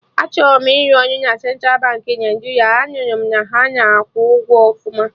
Achọrọ m ịrụ ọrụ na Central Baankị Naijiria, a nụrụ m na ha na-akwụ ụgwọ ọfụma